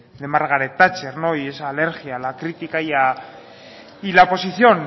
de margaret thatcher y esa alergia a la crítica y la posición